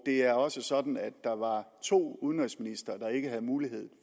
er også sådan at der var to udenrigsministre der ikke havde mulighed